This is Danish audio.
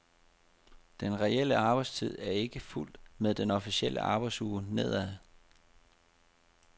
Den reelle arbejdstid er ikke fulgt med den officielle arbejdsuge nedad.